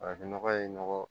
Farafin nɔgɔ ye nɔgɔ